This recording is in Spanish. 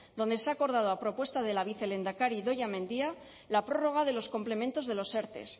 donde se ha acordado a propuesta de la vicelehendakari idoia mendia la prórroga de los complementos de los erte